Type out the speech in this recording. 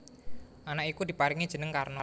Anak iku diparingi jeneng Karna